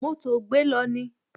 Mó tòògbé lọ ni